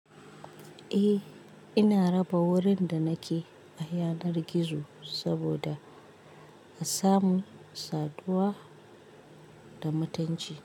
Eh, ina raba wurin da nake a yanar gizo saboda a samu saduwa da mutanci.